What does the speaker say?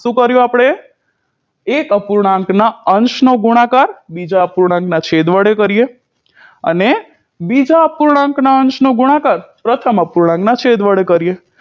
શું કર્યું આપણે એક અપૂર્ણાંક ના અંશનો ગુણાકાર બીજા અપૂર્ણાંકના છેદ વડે કરીએ અને બીજા અપૂર્ણાંકના અંશનો ગુણાકાર પ્રથમ અપૂર્ણાંકના છેદ વડે કરીએ